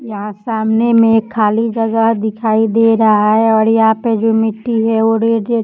यहाँ सामने में एक खाली जगह दिखाई दे रहा है और यहाँ पे जो मिट्टी है वो रेड -रेड --